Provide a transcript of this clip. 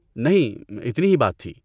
نہیں، اتنی ہی بات تھی۔